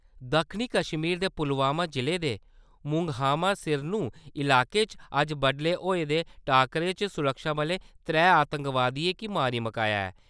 दक्खनी कश्मीर दे पुलवामा जिले दे मूंगहामा सिरनू इलाके च अज्ज बड्डलै होए दे टाकरे च सुरक्षाबलें आतंकवादियें गी मारी मकाया ऐ।